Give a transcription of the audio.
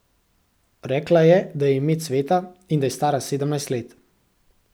Rekla je, da ji je ime Cveta in da je stara sedemnajst let.